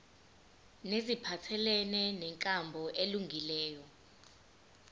neziphathelene nenkambo elungileyo